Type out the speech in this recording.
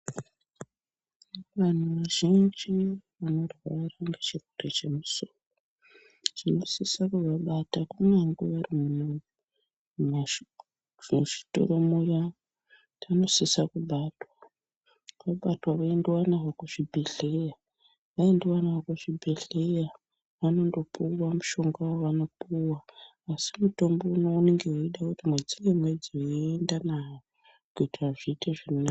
Vanhu vazhinji vanorwara ngechirwere chemusoro tinosisa kuvabata kunyange vari muzvitoro muya vanosisa kubatwa, vabatwa voendiwa navo kuzvibhedhleya, vaendiwa navo kuzvibhedhleya vanondopuwa mushonga wavanopuwa asi mutombo uno unonga weida kuti mwedzi ngemwedzi voendiwa navo kuti zviite zvakanaka.